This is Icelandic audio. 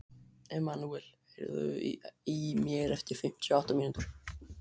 Emmanúel, heyrðu í mér eftir fimmtíu og átta mínútur.